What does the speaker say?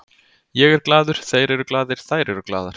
Ég er glaður, þeir eru glaðir, þær eru glaðar.